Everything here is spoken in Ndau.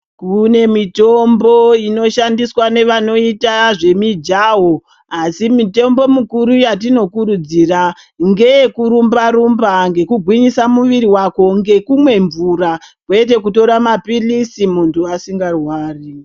Kune mitombo inoshandiswa nevanoita zvemujaho asi mutombo mikuru yatinokurudzira ngeyekurumba rumba ngekugwinyisa muviri wako ngekumwa mvura kwete kutora mapilisi munhu asingarwari.